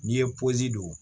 N'i ye don